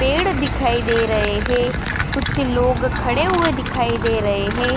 पेड़ दिखाई दे रहे हे । कुछ लोग खड़े हुए दिखाई दे रहे है।